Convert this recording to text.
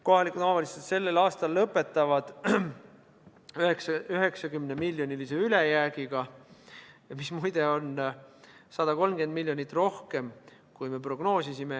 Kohalikud omavalitsused lõpetavad sellel aastal 90-miljonilise ülejäägiga, mis muide on 130 miljonit rohkem, kui me prognoosisime.